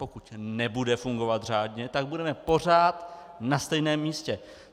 Pokud nebude fungovat řádně, tak budeme pořád na stejném místě.